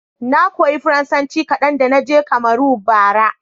Na koya Faransanci kadan da na je Kamaru, bara.